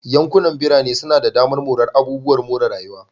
Yankunan birane suna da damar morar abubuwan more rayuwa.